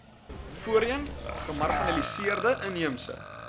voorheen gemarginaliseerde inheemse